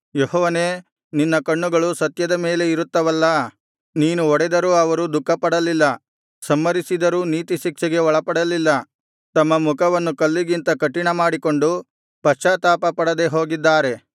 ಯೆಹೋವನೇ ನಿನ್ನ ಕಣ್ಣುಗಳು ಸತ್ಯದ ಮೇಲೆ ಇರುತ್ತವಲ್ಲಾ ನೀನು ಹೊಡೆದರೂ ಅವರು ದುಃಖಪಡಲ್ಲಿಲ್ಲ ಸಂಹರಿಸಿದರೂ ನೀತಿ ಶಿಕ್ಷೆಗೆ ಒಳಪಡಲಿಲ್ಲ ತಮ್ಮ ಮುಖವನ್ನು ಕಲ್ಲಿಗಿಂತ ಕಠಿನಮಾಡಿಕೊಂಡು ಪಶ್ಚಾತ್ತಾಪಪಡದೆ ಹೋಗಿದ್ದಾರೆ